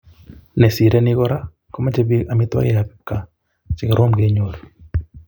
Nesirei ni Kora komochei bik amitwogikab kipkaa chekorom kenyor